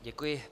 Děkuji.